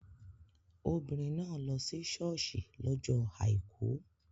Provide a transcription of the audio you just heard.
Obìnrin náà lọ sí ṣọ́ọ̀ṣì lọ́jọ́ Àìkú.